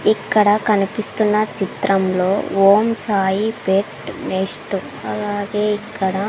ఇక్కడ కనిపిస్తున్న చిత్రంలో ఓం సాయి పెట్ నెస్ట్ అలాగే ఇక్కడ--